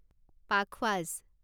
পাখৱাজ